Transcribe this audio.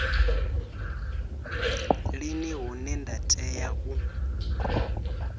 lini hune nda tea u